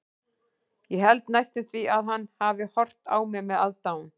Ég held næstum því að hann hafi horft á mig með aðdáun.